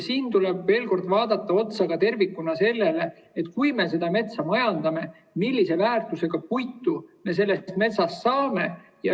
Tuleb veel kord vaadata tervikuna ka seda, et kui me metsa majandame, siis millise väärtusega puitu me sellest metsast saame.